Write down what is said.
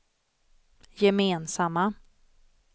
gemensamma